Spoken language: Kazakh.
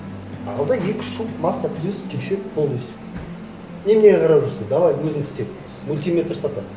ал да екі үш жу масса тірес тексер полностью неменеге қарап жүрсің давай өзің істе мультиметр сатамын